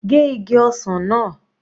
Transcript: Gé igi ọsàn náà.